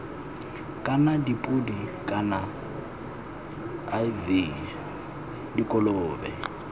kana dipodi kana iv dikolobe